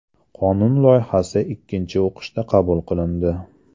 Qonun loyihasi ikkinchi o‘qishda qabul qilindi.